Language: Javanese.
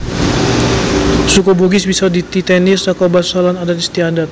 Suku Bugis bisa dititèni saka basa lan adat istiadat